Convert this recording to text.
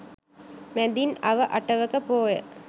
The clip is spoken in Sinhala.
මැදින් අව අටවක පෝය